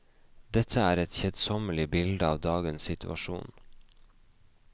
Dette er et kjedsommelig bilde av dagens situasjon.